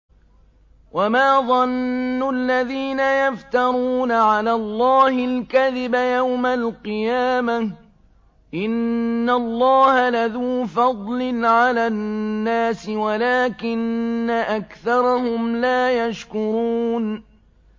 وَمَا ظَنُّ الَّذِينَ يَفْتَرُونَ عَلَى اللَّهِ الْكَذِبَ يَوْمَ الْقِيَامَةِ ۗ إِنَّ اللَّهَ لَذُو فَضْلٍ عَلَى النَّاسِ وَلَٰكِنَّ أَكْثَرَهُمْ لَا يَشْكُرُونَ